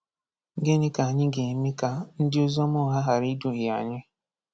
Gịnị ka anyị ga-eme ka ndị oziọma ụgha ghara iduhie anyị?